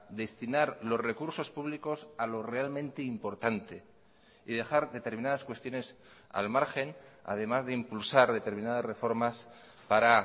destinar los recursos públicos a lo realmente importante y dejar determinadas cuestiones al margen además de impulsar determinadas reformas para